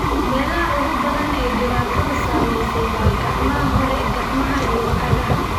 Meelaha ugu badan ee ay dhibaatadu saameysey waa gacmaha hore, gacmaha iyo cagaha.